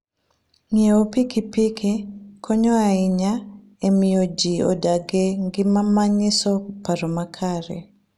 Ng'iewo pikipiki konyo ahinya e miyo ji odag e ngima manyiso paro makare.